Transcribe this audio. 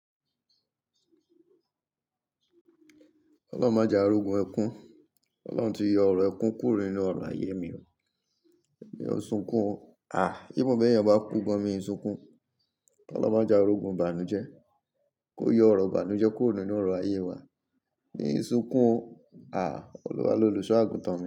Ọlọ́run máa ja orogún ẹkún. Ọlọ́run ti yọ ọ̀rọ̀ ẹkún kúrò nínú ọ̀rọ̀ ayé mi o. Èmi o sunkún o. Ah, bí mo bá yàn bá kú, gan mí ó sunkún. Ọlọ́run máa jẹ́ ki a rí ogún ibàánú jẹ́. Kó yọ ọ̀rọ̀ bàánú jẹ́ kúrò nínú ọ̀rọ̀ ayé wa. Mi sunkún o. Àí, Olúwa lolùṣọ́ àgùntàn mi.